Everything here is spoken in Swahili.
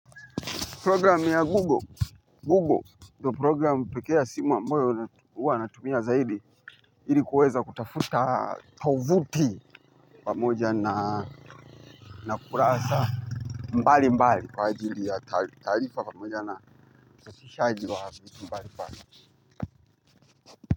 Program ya Google, Google, ndio program pekee ya simu ambayo huwa natumia zaidi, ili kuweza kutafuta tovuti pamoja na kurasa mbalimbali kwa ajili ya taarifa na ufikiaji wa vitu mbalimbali.